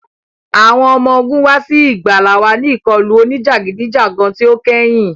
Awọn ọmọ ogun wa si igbala wa ni ikọlu onijagidijagan ti o kẹhin.